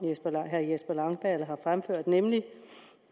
herre jesper langballe har fremført nemlig